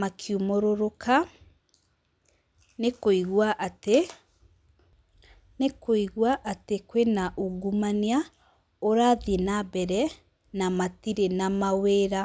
makiumũrũrũka nĩ kũigua atĩ, nĩ kũigua atĩ kwĩna ungumania ũrathiĩ na mbere na matirĩ na mawĩra.